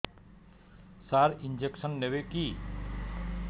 ସାର injection ନେବିକି